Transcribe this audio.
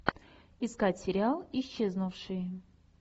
искать сериал исчезнувшие